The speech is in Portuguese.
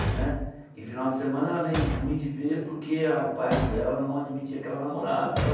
Né e final de semana era meio ruim de ver porque o pai dela não admitia que ela namorava e tal.